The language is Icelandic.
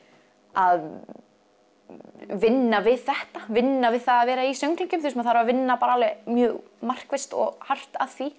að vinna við þetta vinna við að vera í söngleikjum maður þarf að vinna mjög markvisst og hart að því